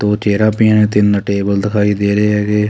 ਦੋ ਚਿਹਰਾ ਪਈਆਂ ਤਿੰਨ ਟੇਬਲ ਦਿਖਾਈ ਦੇ ਰਹੇ ਹੈਗੇ।